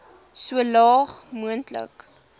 so laag moontlik